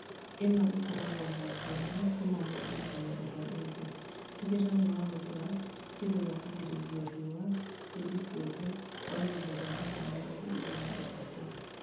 Ĩno ĩkoragwo na ngũrani kuma mũndũ nginya ũrĩa ũngĩ, tigĩrĩra nĩ wahũthĩra kĩndũ gĩa kũgĩrĩrĩria riũa hĩndĩ ciothe gwa ihinda rĩa mathaa mĩrongo ĩrĩ na ithatũ